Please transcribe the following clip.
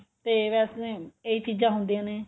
ਤੇ ਵੈਸੇ ਇਹ ਚੀਜ਼ਾ ਹੁੰਦੀਆਂ ਨੇ